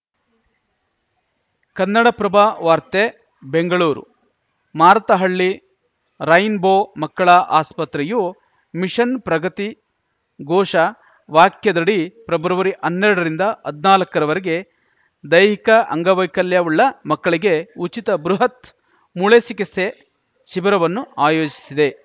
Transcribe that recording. ಕನ್ನಡಪ್ರಭ ವಾರ್ತೆ Bengaluru Marathahalli rainbow ಮಕ್ಕಳ ಆಸ್ಪತ್ರೆಯು ಮಿಷನ್‌ ಪ್ರಗತಿ ಘೋಷ ವಾಕ್ಯದಡಿ ಪ್ರೆಬ್ರವರಿಅನ್ನೆರಡರಿಂದ ಹದ್ನಾಲ್ಕ ರವರೆಗೆ ದೈಹಿಕ ಅಂಗವೈಕಲ್ಯವುಳ್ಳ ಮಕ್ಕಳಿಗೆ ಉಚಿತ ಬೃಹತ್‌ ಮೂಳೆ ಚಿಕಿಸ್ತೆ ಶಿಬಿರವನ್ನು ಆಯೋಜಿಸಿದೆ